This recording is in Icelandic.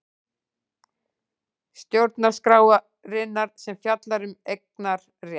Stjórnarskrárinnar sem fjallar um eignarétt.